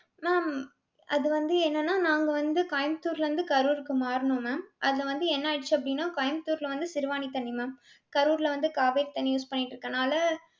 mam அது வந்து என்னனா நாங்க வந்து கோயம்பத்தூர்ல இருந்து கரூர்க்கு மாறினோம் mam. அது வந்து என்ன ஆயிடிச்சி அப்டினா கோயம்பத்தூர்ல வந்து சிறுவாணி தண்ணி ma'am கரூர்ல வந்து காவேரி தண்ணி use பண்ணிட்டு இருக்கனால